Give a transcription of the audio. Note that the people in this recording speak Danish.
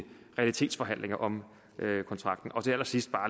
realitetsforhandlinger om kontrakten til allersidst